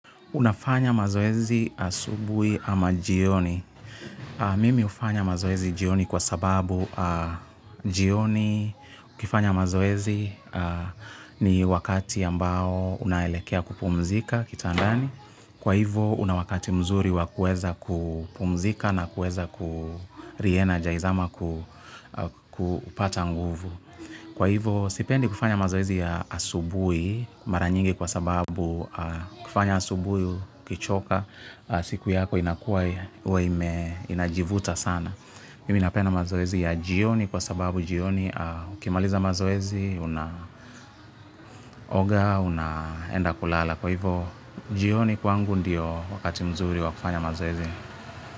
Unafanya mazoezi asubuhi ama jioni. Mimi hufanya mazoezi jioni kwa sababu jioni. Ukifanya mazoezi ni wakati ambao unaelekea kupumzika kitandani. Kwa hivo una wakati mzuri wa kuweza kupumzika na kueza ku re-energize ama kupata nguvu. Kwa hivo sipendi kufanya mazoezi ya asubuhi mara nyingi kwa sababu kufanya asubuhi ukichoka siku yako inakua huwa inajivuta sana. Mimi napenda mazoezi ya jioni kwa sababu jioni ukimaliza mazoezi, unaoga, unaenda kulala. Kwa hivo jioni kwangu ndiyo wakati mzuri wa kufanya mazoezi.